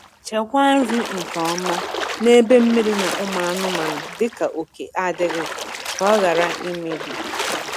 Chekwaa nri nke ọma n'ebe mmiri na ụmụ anụmanụ dịka oke adịghị, ka ọ ghara imebi.